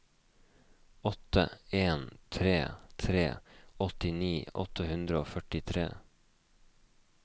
åtte en tre tre åttini åtte hundre og førtitre